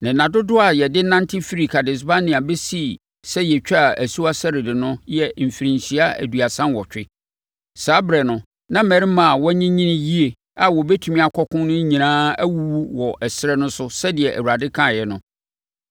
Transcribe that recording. Na nna dodoɔ a yɛde nante firi Kades-Barnea bɛsii sɛ yɛtwaa asuwa Sered no yɛ mfirinhyia aduasa nwɔtwe. Saa ɛberɛ no, na mmarima a wɔanyinyini yie a wɔbɛtumi akɔ ɔko no nyinaa awuwu wɔ ɛserɛ no so sɛdeɛ Awurade kaeɛ no.